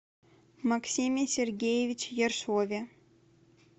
максиме сергеевиче ершове